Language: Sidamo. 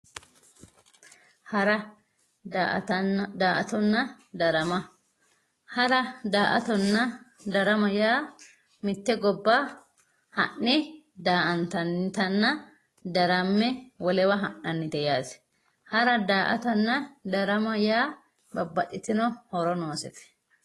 Hara, daa"atta, darama ,hara daa"attonna darama yaa mite gobba ha'ne daa"attannitenna darame wolewa ha'nannite yaate hara da"aatta yaa babbaxxitino horo noosete.